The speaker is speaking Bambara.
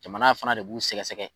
Jamana fana de b'u sɛgɛsɛgɛ